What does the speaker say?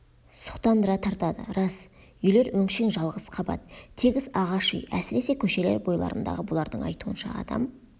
сұқтандыра тартады рас үйлер өңшең жалғыз қабат тегіс ағаш үй әсіресе көшелер бойларындағы бұлардың айтуынша адам